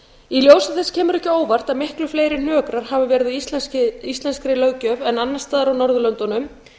ljósi þess kemur ekki á óvart að miklu fleiri hnökrar hafa verið á íslenskri löggjöf en annars staðar á norðurlöndunum